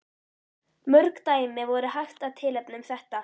Mörg dæmi væri hægt að tilnefna um þetta.